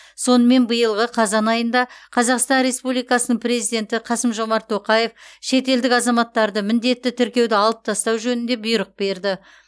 сонымен биылғы қазан айында қазақстан республикасының президенті қасым жомарт тоқаев шетелдік азаматтарды міндетті тіркеуді алып тастау жөнінде бұйрық берді